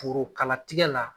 Porokalatigɛ la